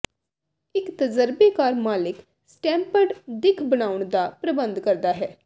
ਇੱਕ ਤਜਰਬੇਕਾਰ ਮਾਲਿਕ ਸਟੈਂਪਡ ਦਿੱਖ ਬਣਾਉਣ ਦਾ ਪ੍ਰਬੰਧ ਕਰਦਾ ਹੈ